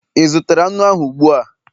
ị zụtara nnu ahụ ụgbua?